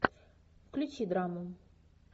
включи драму